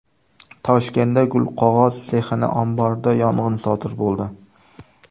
Toshkentda gulqog‘oz sexining omborida yong‘in sodir bo‘ldi.